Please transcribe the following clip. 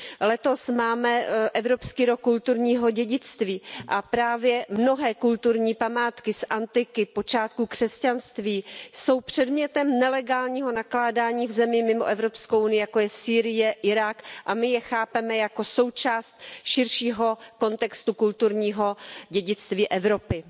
Letos máme Evropský rok kulturního dědictví a právě mnohé kulturní památky z antiky, z počátku křesťanství jsou předmětem nelegálního nakládání v zemích mimo EU, jako je Sýrie, Irák, a my je chápeme jako součást širšího kontextu kulturního dědictví Evropy.